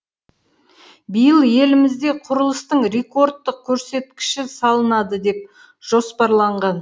биыл елімізде құрылыстың рекордттық көрсеткіші салынады деп жоспарланған